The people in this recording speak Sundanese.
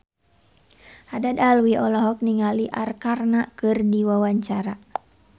Haddad Alwi olohok ningali Arkarna keur diwawancara